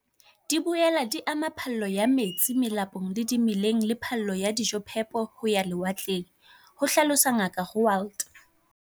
"Di boela di ama phallo ya metsi melapong le dimeleng le phallo ya dijophepo ho ya lewatleng," ho hlalosa Ngaka Roualt.